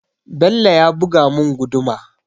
Bello ya buga mun guduma